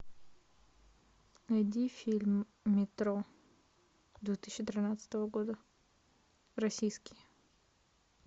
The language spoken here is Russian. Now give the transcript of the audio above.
найди фильм метро две тысячи тринадцатого года российский